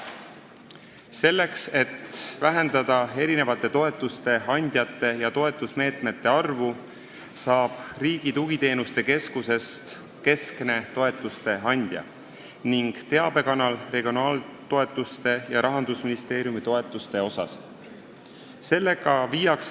Selleks, et vähendada toetuste andjate ja toetusmeetmete arvu, saab Riigi Tugiteenuste Keskusest keskne toetuste andja ning teabekanal regionaaltoetuste ja Rahandusministeeriumi toetuste puhul.